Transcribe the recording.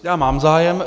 Já mám zájem.